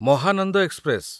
Mahananda express